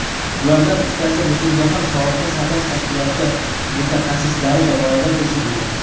Ulardan uchtasi Butunjahon sog‘liqni saqlash tashkiloti mutaxassislari tomonidan tekshirilgan.